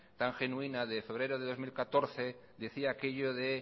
tan genuina de febrero de dos mil catorce decía aquello de